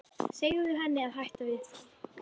Segðu henni að hætta við það.